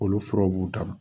Olu furaw b'u dan ma